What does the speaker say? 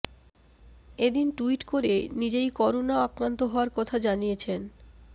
এ দিন টুইট করে নিজেই করোনা আক্রান্ত হওয়ার কথা জানিয়েছেন